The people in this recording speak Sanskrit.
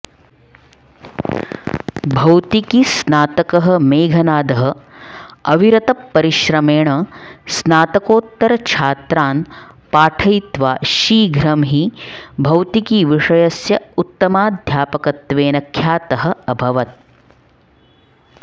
भौतिकीस्नातकः मेघनादः अविरतपरिश्रमेण स्नातकोत्तरछात्रान् पाठयित्वा शीघ्रं हि भौतिकीविषयस्य उत्तमाध्यापकत्वेन ख्यातः अभवत्